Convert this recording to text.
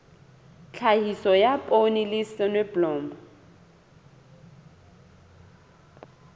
tlhahiso ya poone le soneblomo